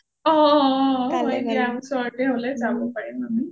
অঅঅ হয় দিয়া ওচৰতে হলে যাব পাৰিম আমি